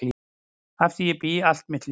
Að því bý ég allt mitt líf.